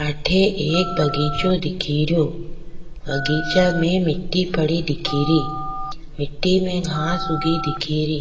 अठे एक बगीचों दिखेरो बगीचा में मिटटी पड़ी दिखेरी मट्टी में घास उगी दिखेरी।